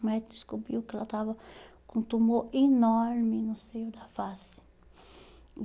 O médico descobriu que ela estava com um tumor enorme no seio da face.